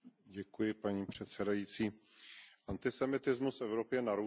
Paní předsedající, antisemitismus v Evropě narůstá.